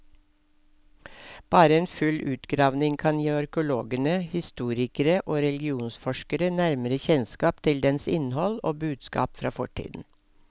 Bare en full utgravning kan gi arkeologene, historikere og religionsforskere nærmere kjennskap til dens innhold og budskap fra fortiden.